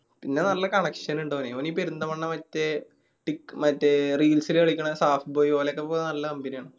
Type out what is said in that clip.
പിന്നെ നല്ല connection ഇണ്ട് ഓന് ഓന് ഈ പെരിന്തൽമണ്ണ മറ്റേ tik മറ്റേ reels ല് കളിക്കണ saafboi ഓലൊക്കെ ഇപ്പോ നല്ല company ആണ്.